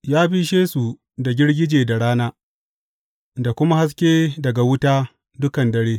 Ya bishe su da girgije da rana da kuma haske daga wuta dukan dare.